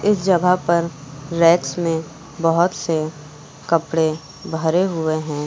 इस जगह पर रैक्स में बहुत से कपड़े भरे हुए हैं।